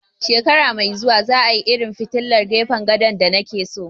Shekara mai zuwa za a yi irin filtilan gefen gado da na ke so